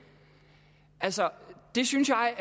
altså det synes jeg